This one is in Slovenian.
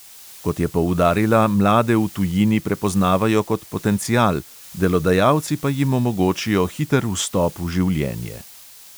Kot je poudarila, mlade v tujini prepoznavajo kot potencial, delodajalci pa jim omogočijo hiter vstop v življenje.